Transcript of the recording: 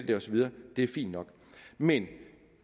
det og så videre det er fint nok men